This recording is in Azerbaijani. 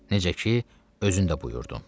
Necə ki, özün də buyurdun.